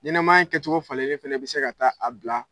Ɲenɛmaya in kɛcogo falelen fana bɛ se ka taa a bila